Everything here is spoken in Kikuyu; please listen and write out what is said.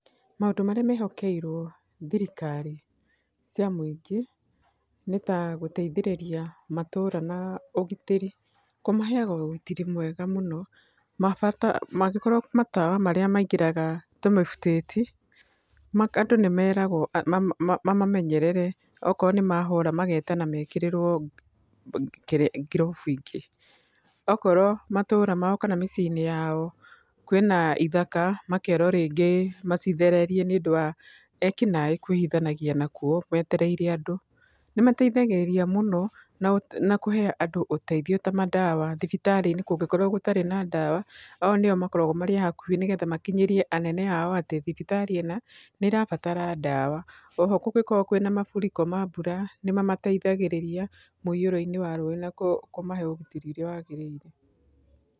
Maũndũ marĩa mehokeirwo thirikari cia mũingĩ nĩta gũteithĩrĩria matũra na ũgitĩri, kũmaheyaga ũgitĩri mwega mũno. Mangĩkorwo matawa marĩa maingĩraga tũmĩbutĩti andũ nĩmeragwo mamamenyerere, akorwo nĩmahora magetana mekĩrĩrwo ngirobu ingĩ. Okorwo matũra mao kana mĩcii-inĩ yao kwĩna ithaka makerwo rĩngĩ macithererie nĩũndũ wa ekinaĩ kwĩhithanagia nakuo metereire andũ. Nĩmateithagĩrĩria mũno na kũhe andũ mandawa ta mathibitarĩ-inĩ ngũngĩkorwo gũtirĩ na ndawa. O nĩo makorwagwo marĩ hakuhĩ nĩgetha makinyĩrie anene ao atĩ thibitarĩ ĩna nĩrabatara ndawa. Oho kũngĩkorwo kwĩna mafuriko ma mbura nĩmamateithagĩrĩria mũiyũro-inĩ wa maaĩ na kũmahe ũgitĩri ũrĩa wagĩrĩire.